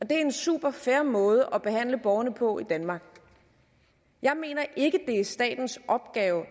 det er en superfair måde at behandle borgerne på i danmark jeg mener ikke det er statens opgave